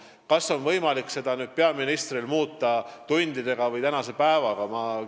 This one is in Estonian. Kas peaministril on võimalik nüüd midagi muuta tundidega või tänase päeva jooksul?